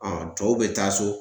tɔw bɛ taa so .